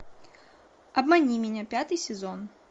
обмани меня пятый сезон